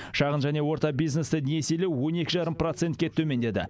шағын және орта бизнесті несиелеу он екі жарым процентке төмендеді